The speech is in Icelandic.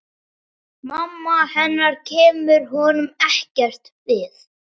Mamma hennar kemur honum ekkert við.